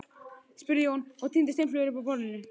spurði Jón og tíndi steinflögur upp af borðinu.